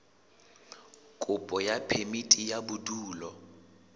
kopo ya phemiti ya bodulo